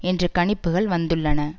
என்ற கணிப்புகள் வந்துள்ளன